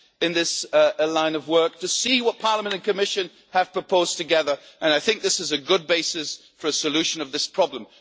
in this line of work, to see what Parliament and Commission have proposed together. I think this is a good basis for a solution of this problem.